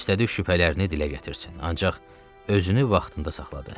İstədi şübhələrini dilə gətirsin, ancaq özünü vaxtında saxladı.